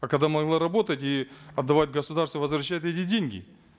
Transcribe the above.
а когда могла работать и отдавать государству возвращать эти деньги